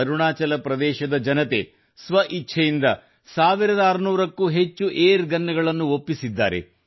ಅರುಣಾಚಲ ಪ್ರದೇಶದ ಜನತೆ ಸ್ವ ಇಚ್ಛೆಯಿಂದ 1600 ಕ್ಕೂ ಹೆಚ್ಚು ಏರ್ ಗನ್ ಗಳನ್ನು ಒಪ್ಪಿಸಿದ್ದಾರೆ